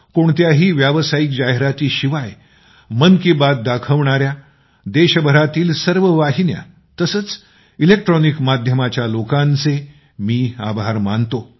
कोणत्याही व्यावसायिक जाहिरातीशिवाय मन की बात दाखवणाऱ्या देशभरातील सर्व वाहिन्या तसेच इलेक्ट्रॉनिक माध्यमाच्या लोकांचे मी आभार मानतो